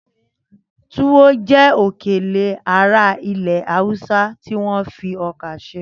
Túwọ́ jẹ́ òkèlè ará ilẹ̀ Haúsá tí wọ́n fi ọkà ṣe.